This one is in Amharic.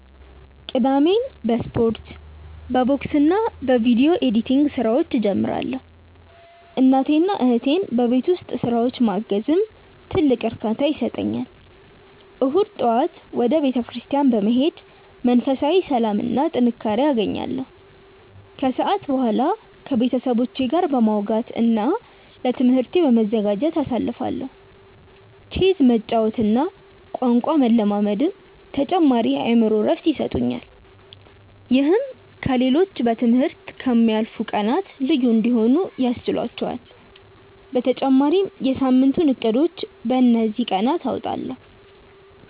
ቅዳሜን በስፖርት፣ በቦክስና በቪዲዮ ኤዲቲንግ ስራዎች እጀምራለሁ። እናቴንና እህቴን በቤት ውስጥ ስራዎች ማገዝም ትልቅ እርካታ ይሰጠኛል። እሁድ ጠዋት ወደ ቤተክርስቲያን በመሄድ መንፈሳዊ ሰላምና ጥንካሬ አገኛለሁ፤ ከሰዓት በኋላ ከቤተሰቦቼ ጋር በማውጋትና ለትምህርቴ በመዘጋጀት አሳልፋለሁ። ቼዝ መጫወትና ቋንቋ መለማመድም ተጨማሪ የአእምሮ እረፍት ይሰጡኛል። ይህም ከ ሌሎቹ በ ትምህርት ከ ምያልፉት ቀናት ልዩ እንዲሆኑ ያስችህላቹአል በተጨማሪም የ ሳምንቱን እቅዶችን በ እንዚህ ቀናት አወጣለሁ።